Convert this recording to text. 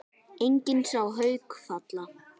Enginn sá Hauk falla.